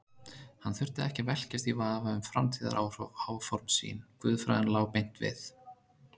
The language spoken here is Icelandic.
Hann þurfti ekki að velkjast í vafa um framtíðaráform sín, guðfræðin lá beint við.